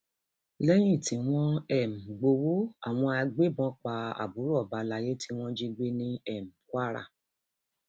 lẹyìn tí wọn um gbowó àwọn agbébọn pa àbúrò ọba alayé tí wọn jí gbé ní um kwara